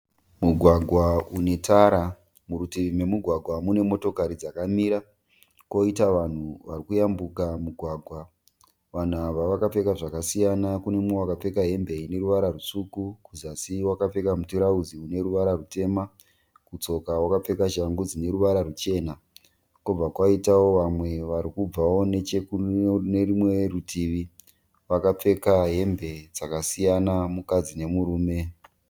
Mugwagwa unetara, murutivi momugwagwa mune motokari dzakamira koita vanhu varikuyambuka mugwagwa. Vanhu ava vakapfeka zvakasiyana. Kune mumwe akapfeka hembe ineruvara rwutsvuku kuzasi wakapfeka mutirauzi uneruvara rwutema, kutsoka wakapfeka shangu dzineruvara rwuchena. Kobva kwaitawo vamwe varikubvawo kune rumwe rutivi vakapfeka hembe dzakasiyana mukadzi nemurume.